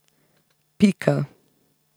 Pika.